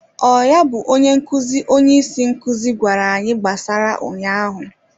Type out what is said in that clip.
Ọ ya bụ onye nkụzi, onye isi nkuzi gwara anyị gbasara ụnyaahụ?